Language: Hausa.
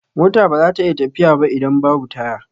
Mota baza ta iya tafiya ba idan babu taya